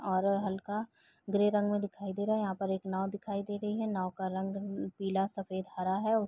और हल्का ग्रे रंग में दिखाई दे रहा है। यहाँ पे एक नाव दिखाई दे रही है। नाव का रंग पीला सफ़ेद हरा है।